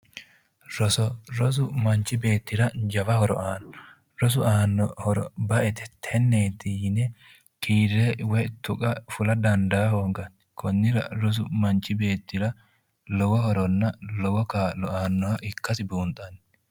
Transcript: Roso rosu manchi beettira jawa horo aanno rosu aanno horo ba'ete tenneeti yine kiirre woyi tuqa fula dandaa hoonganni konnira rosu manchi beettira lowo horonna lowo kaa'lo aannoha ikkasi buunxanni